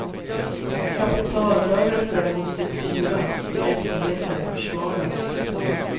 Kapitalrörelser måste styras, rättigheter försvaras.